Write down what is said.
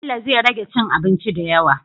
bello zai rage cin abinci dayawa